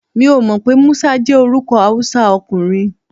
Mi ò mọ̀ pé Musa jẹ́ orúkọ Hausa ọkùnrin.